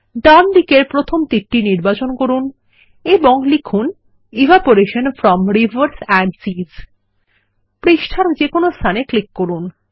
ডান দিকের প্রথম তীর নির্বাচন করুন এবং লিখুন evaporation from rivers and seas পৃষ্ঠার যেকোনো স্থানে ক্লিক করুন